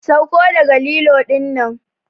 Sauko daga lilo dinnan!